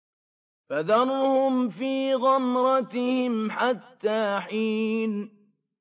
فَذَرْهُمْ فِي غَمْرَتِهِمْ حَتَّىٰ حِينٍ